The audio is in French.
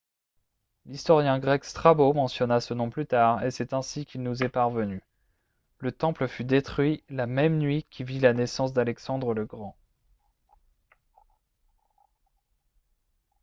l'historien grec strabo mentionna ce nom plus tard et c'est ainsi qu'il nous est parvenu le temple fut détruit la même nuit qui vit la naissance d'alexandre le grand